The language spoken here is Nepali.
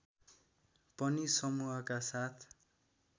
पनि समूहका साथ